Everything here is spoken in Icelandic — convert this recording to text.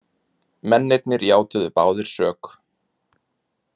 Mennirnir játuðu báðir sök